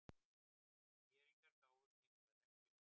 ÍR-ingar gáfust hins vegar ekki upp.